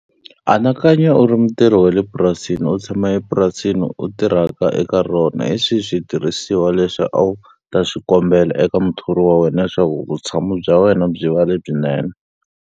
Anakanya u ri mutirhi wa le purasisni, u tshama epurasini leri u tirhaka eka rona. Hi swihi switirhisiwa leswi a wu ta swi kombela eka muthori wa wena leswaku vutshamo bya wena byi va lebyinene?